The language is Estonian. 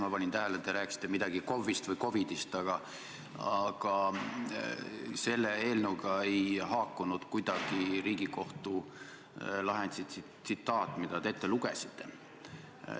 Ma panin tähele, te rääkisite midagi KOV-ist või COVID-ist, aga selle eelnõuga ei haakunud kuidagi Riigikohtu lahendi tsitaat, mille te ette lugesite.